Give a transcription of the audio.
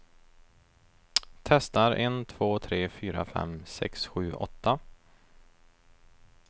Testar en två tre fyra fem sex sju åtta.